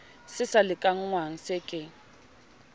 se sa lekanngwang se ke